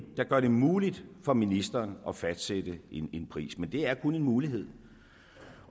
der gør det muligt for ministeren at fastsætte en pris men det er kun en mulighed